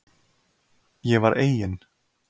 Ég var eigin